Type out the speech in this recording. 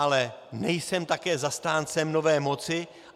Ale nejsem také zastáncem nové moci.